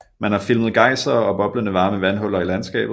Man har filmet geysere og boblende varme vandhuller i landskabet